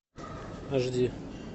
аш ди